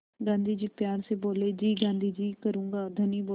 गाँधी जी प्यार से बोले जी गाँधी जी करूँगा धनी बोला